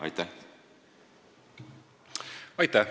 Aitäh!